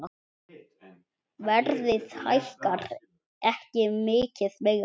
Verðið hækkar ekki mikið meira.